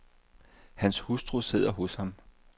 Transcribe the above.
Hans hustru sidder hos ham.